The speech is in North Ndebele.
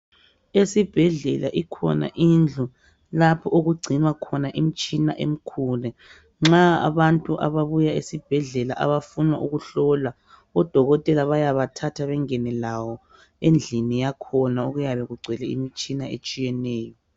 Esibhedlela ikhona indlu lapho okugcinwa khona imitshina emikhulu nxa abantu ababuya esibhedlela abafuna ukuhlolwa odokotela bayaba thatha bengene labo endlini yakhona okuyabe kugcwele imitshina etshiyeneyo.